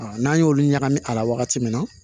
n'an y'olu ɲagami a la wagati min na